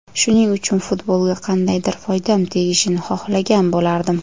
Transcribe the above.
Shuning uchun, futbolga qandaydir foydam tegishini xohlagan bo‘lardim.